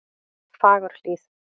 Fagurhlíð